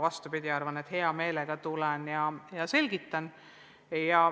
Vastupidi, ma tulen hea meelega ja selgitan.